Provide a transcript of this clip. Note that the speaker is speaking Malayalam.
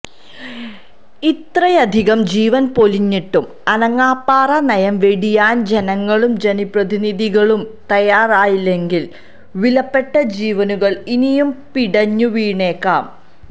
ഇത്രയധികം ജീവന് പൊലിഞ്ഞിട്ടും അനങ്ങാപ്പാറ നയം വെടിയാന് ജനങ്ങളും ജനപ്രതിനിധികളും തയാറായില്ലെങ്കില് വിലപ്പെട്ട ജീവനുകള് ഇനിയും പിടഞ്ഞു വീണേക്കാം